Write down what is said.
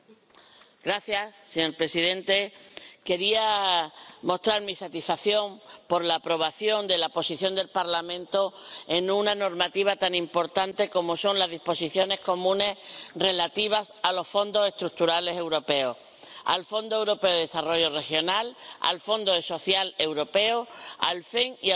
Señor presidente, quería mostrar mi satisfacción por la aprobación de la posición del Parlamento en una normativa tan importante como son las disposiciones comunes relativas a los Fondos Estructurales Europeos al Fondo Europeo de Desarrollo Regional, al Fondo Social Europeo, al FEMP y al Fondo de Cohesión.